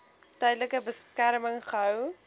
tydelike beskerming gehou